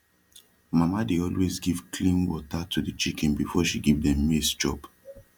mama dey always give clean wata to de chicken befor she give dem maize chop